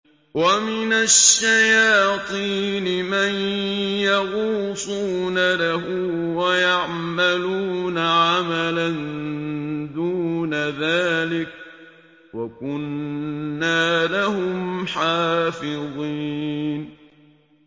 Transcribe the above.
وَمِنَ الشَّيَاطِينِ مَن يَغُوصُونَ لَهُ وَيَعْمَلُونَ عَمَلًا دُونَ ذَٰلِكَ ۖ وَكُنَّا لَهُمْ حَافِظِينَ